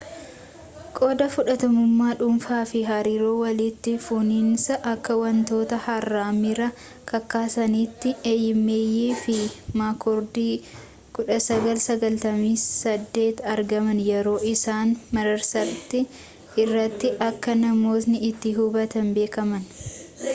qooda fudhattummaa dhuunfaa” fi hariiroo walitti fufiinsaa” akka wantoota haaraa miira kakaasanitti eeyimeeyi fi maakkoordi 1998 argaman yeroo isaan marsaaritti irratti akka namootni itti hubatan beekameen